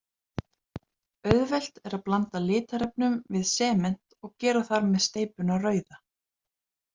Auðvelt er að blanda litarefnum við sement og gera þar með steypuna rauða.